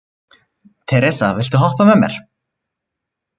Teresa, viltu hoppa með mér?